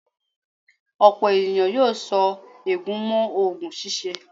Ọ̀pọ̀ ènìyàn yóò so ègún mọ́ oògùn ṣíṣe.